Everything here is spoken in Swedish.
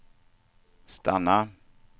stanna